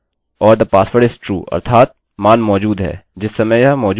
or the password is true अर्थात मान मौजूद है; जिस समय यह मौजूद नहीं हैतो यह false है